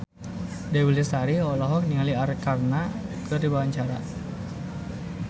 Dewi Lestari olohok ningali Arkarna keur diwawancara